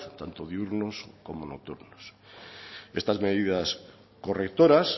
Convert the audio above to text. tanto diurnos como nocturnos estas medidas correctoras